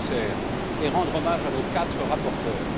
le Commissaire et rendre hommage à nos quatre rapporteurs.